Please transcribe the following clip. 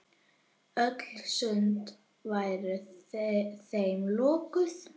Öll sund væru þeim lokuð.